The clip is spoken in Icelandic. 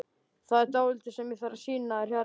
Það er dálítið sem ég þarf að sýna þér hérna!